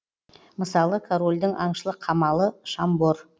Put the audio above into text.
мысалы корольдің аңшылық қамалы шамбор